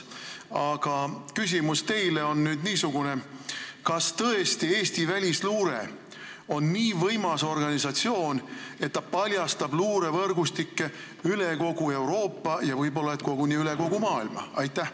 Aga küsimus on teile nüüd niisugune: kas tõesti on Eesti välisluure nii võimas organisatsioon, et ta paljastab luurevõrgustikke üle kogu Euroopa, võib-olla koguni üle kogu maailma?